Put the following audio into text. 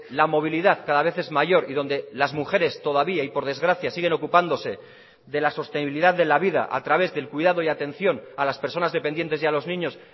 la movilidad cada vez es mayor y donde las mujeres todavía y por desgracia siguen ocupándose de la sostenibilidad de la vida a través del cuidado y atención a las personas dependientes y a los niños